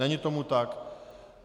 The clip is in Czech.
Není tomu tak.